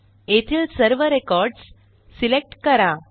येथील सर्व records select करा